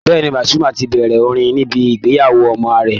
Bẹ́ẹ̀ ni, Pàsúmà tibẹ̀rẹ̀ orin níbi ìgbéyàwó ọmọ ààrẹ